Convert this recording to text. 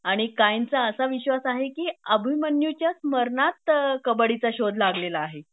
आणि कायमचा असा विश्वास आहे कि अभिमन्युच्याच मरणात कबड्डीचा शोध लागलेला आहे